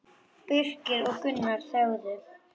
Birkir og Gunnar þögðu.